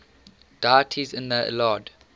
deities in the iliad